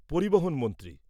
পরিবহণ মন্ত্রী